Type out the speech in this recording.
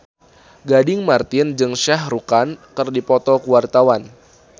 Gading Marten jeung Shah Rukh Khan keur dipoto ku wartawan